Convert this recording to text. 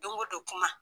Don o don kuma